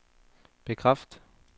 bekræft